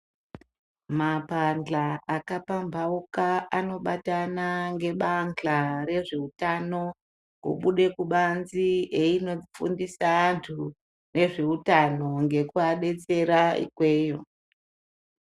Mapandlya akapambawuka anobatana ngebandlya rezvehutano kubude kubanzi inofundisa vantu nezvehutano ngekuvadetsera ikweyiyo.